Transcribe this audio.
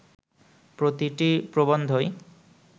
প্রতিটি প্রবন্ধই